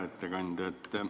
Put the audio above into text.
Hea ettekandja!